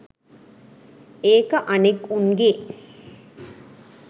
ඒක අනෙක් උන්ගේ